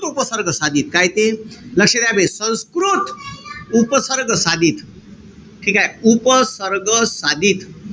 उपसर्ग साधित. काय ते? लक्ष द्या बे. संस्कृत उपसर्ग साधित. ठीकेय? उपसर्ग साधित.